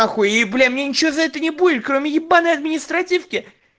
охуеть бля мне ничего за это не будет кроме ебанной административки